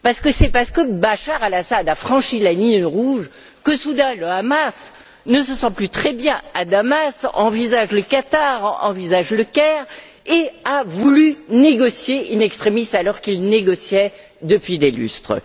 En effet, c'est parce que Bachar el Assad a franchi la ligne rouge que soudain le Hamas ne se sent plus très bien à Damas, envisage le Qatar, envisage Le Caire, et qu'il a voulu négocier in extremis alors qu'il négociait depuis des lustres.